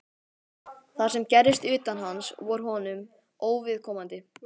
Það sem gerðist utan hans var honum óviðkomandi.